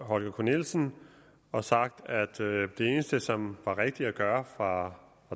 holger k nielsen og sagt at det eneste som var rigtigt at gøre fra